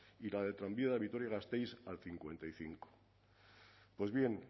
y la del tranvía de vitoria gasteiz al cincuenta y cinco pues bien